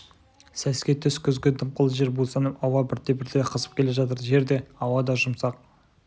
сәске түс күзгі дымқыл жер бусанып ауа бірте-бірте қызып келе жатыр жер де ауа да жұмсақ